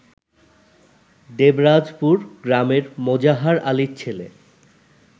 দেবরাজপুর গ্রামের মোজাহার আলীর ছেলে